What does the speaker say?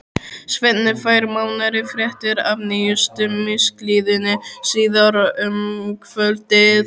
Svenni fær nánari fréttir af nýjustu misklíðinni síðar um kvöldið.